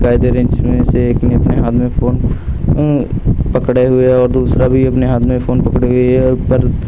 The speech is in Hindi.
काई दे रही। इसमें से एक ने अपने हाथ में फ़ोन उम्म पकड़े हुए और दूसरा भी अपने हाथ में फोन पकड़े हुए। ये अ ऊपर स् --